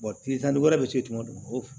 tile tan ni duuru wɛrɛ bɛ to yen tugun